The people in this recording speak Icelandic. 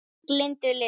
Minning Lindu lifir.